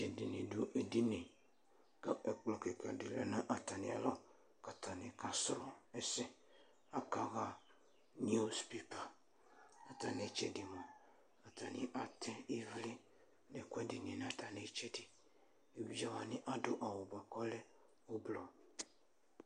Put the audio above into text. Ɛdini dʋ edini kʋ ɛkplɔ kika di lɛ atami alɔ, kʋ atani kasrɔ ɛsɛ akaɣa niws pepa, atami itsɛdi atani atɛ ivli nʋ ɛkʋɛdi nʋ atami itsɛdi evidzewani adʋ awʋdi bʋakʋ ɔlɛ ʋblʋ